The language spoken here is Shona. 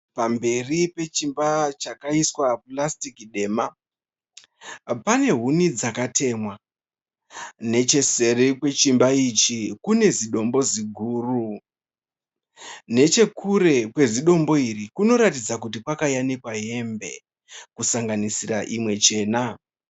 Pamberi pechimba chakaiswa purasitiki dema pane huni dzakatemwa, necheseri kwechimba ichi kune zidombo ziguru nechekure kwezidombo iri kunoratidza kuti kwakayanikwa hembe kusanganisira imwe chena.